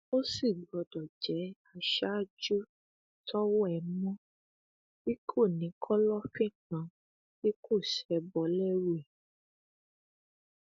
ó sì gbọdọ jẹ aṣáájú tọwọ ẹ mọ tí kò ní kọlọfín kan tí kò ṣebọ lẹrú ẹ